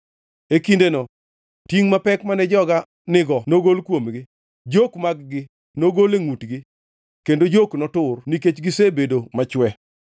E kindeno tingʼ mapek mane joga nigo nogol kuomgi, jok mag-gi nogol e ngʼutgi; kendo jok notur nikech gisebedo machwe.